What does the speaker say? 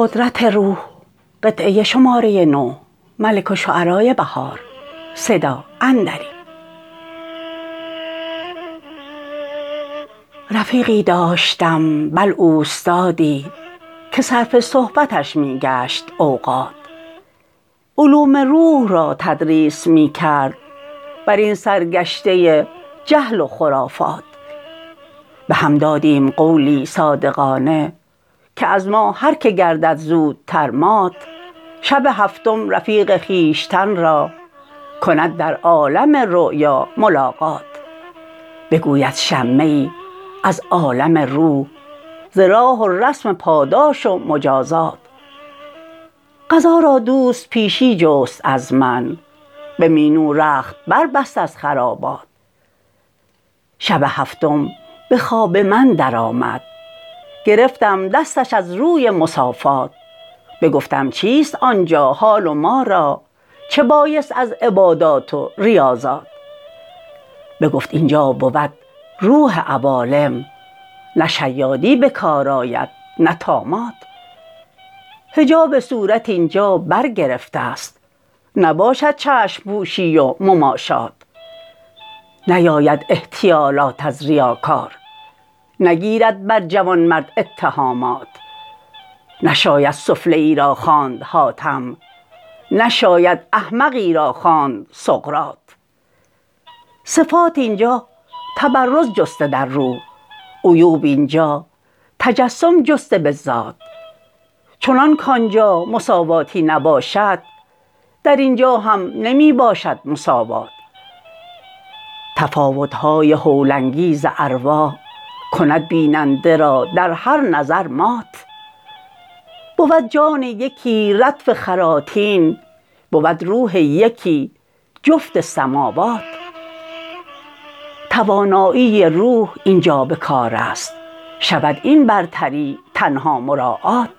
رفیقی داشتم بل اوستادی که صرف صحبتش می گشت اوقات علوم روح را تدریس می کرد برین سرگشته جهل و خرافات بهم دادیم قولی صادقانه که از ما هرکه گردد زودتر مات شب هفتم رفیق خویشتن را کند در عالم رویا ملاقات بگوید شمه ای از عالم روح ز راه و رسم پاداش و مجازات قضا را دوست پیشی جست از من به مینو رخت بربست از خرابات شب هفتم به خواب من درآمد گرفتم دستش از روی مصافات بگفتم چیست آنجا حال وما را چه بایست از عبادات و ریاضات بگفت اینجا بود روح عوالم نه شیادی بکار آید نه طامات حجاب صورت اینجا برگرفته است نباشد چشم پوشی و مماشات نیاید احتیالات از ریاکار نگیرد بر جوانمرد اتهامات نشاید سفله ای را خواند حاتم نشاید احمقی را خواند سقرات صفات اینجا تبرز جسته در روح عیوب اینجا تجسم جسته بالذات چنان کانجا مساواتی نباشد در اینجا هم نمی باشد مساوات تفاوت های هول انگیز ارواح کند بیننده را در هر نظر مات بود جان یکی ردف خراطین بود روح یکی جفت سموات توانایی روح اینجا بکار است شود این برتری تنها مراعات